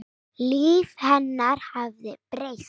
Líf hennar hafði breyst.